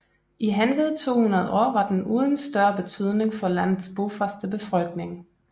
I henved 200 år var den uden større betydning for landets bofaste befolkning